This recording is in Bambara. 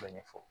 ɲɛfɔ